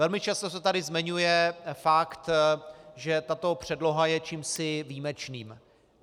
Velmi často se tady zmiňuje fakt, že tato předloha je čímsi výjimečným.